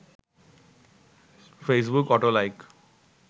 Facebook auto like